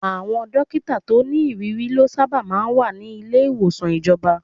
Àwọn dókítà tó ní ìrírí lọ sábà máa ń wà ní ilé ìwòsàn ìjọba.